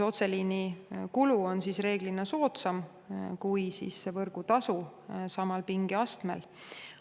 Otseliini kulu on enamasti soodsam kui võrgutasu samal pingeastmel.